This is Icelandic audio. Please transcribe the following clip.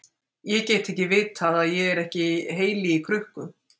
Ég get ekki vitað að ég er ekki heili í krukku.